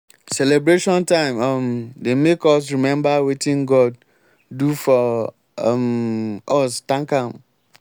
celebration time um dey make us remember wetin god do for um us thank am.